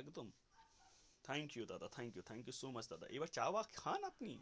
একদম thank you দাদা thank you thank you so much দাদা এবার চা মা খান আপনি